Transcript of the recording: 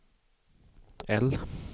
L